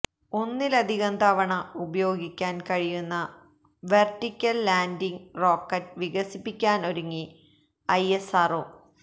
ഒന്നിലധികം തവണ ഉപയോഗിക്കാന് കഴിയുന്ന വെര്ട്ടിക്കല് ലാന്ഡിംഗ് റോക്കറ്റ് വികസിപ്പിക്കാനൊരുങ്ങി ഐഎസ്ആര്ഒ